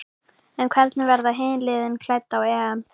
En hvernig verða hin liðin klædd á EM?